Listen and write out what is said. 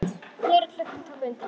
Fleiri klukkur tóku undir.